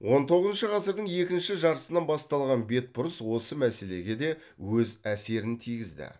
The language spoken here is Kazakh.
он тоғызыншы ғасырдың екінші жартысынан басталған бетбұрыс осы мәселеге де өз әсерін тигізді